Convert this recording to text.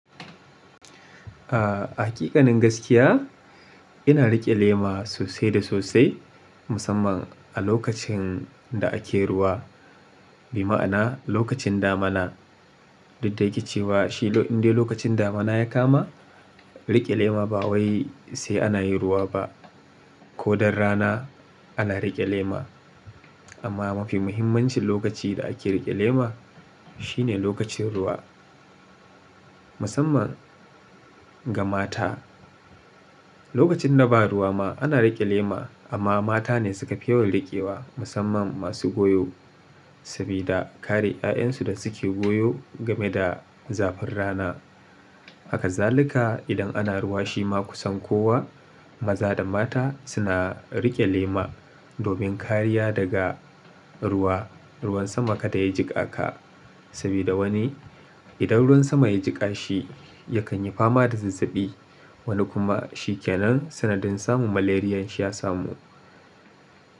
A hakikanin gaskiya, ina riƙe lema sosai da sosai musamman a lokacin da ake ruwa. Bi ma'ana lokacin damana. Duk da ya ke cewa shi inda lokacin damana ya kama, riƙe lema ba wai sai ana yi ruwa ba. Ko dan rana ana riƙe lema. Amma mafi mahimanci lokaci da ake rike lema shine lokacin ruwa musamman ga mata. Lokacin da ba ruwa ma ana riƙe lema amma mata ne suka fi yawan riƙewa musamman masu goyo. Sabida kare 'ya'yansu da suke goyo game da zafin rana. Hakazalika idan ana ruwa shi ma kusan kowa maza da mata suna riƙe lema domin kariya daga ruwa. Ruwan sama kada ya jiƙa ka. Sabida wani idan ruwan sama ya jiƙa shi yakan yi fama da zazzabi. Wani kuma shi ke nan sanadin samun malaria shi ya samu.